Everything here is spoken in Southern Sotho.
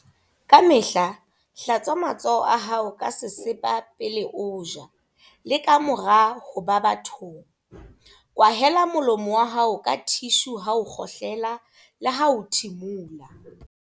Kamehla hlatswa matsoho a hao ka sesepa pele o ja le kamora ho ba bathong. Kwahela molomo wa hao ka thishu ha o kgohlela le ha o thimola.